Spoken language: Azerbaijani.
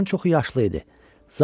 Onların çoxu yaşlı idi.